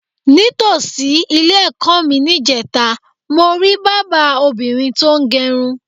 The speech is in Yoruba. Ní tòsí ilé-è̩kó̩ mi níje̩ta, mo rí bábà obìnrin tó ń g̩e̩run.